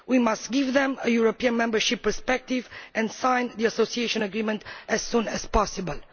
We must give them a European membership perspective and sign the Association Agreement as soon as possible.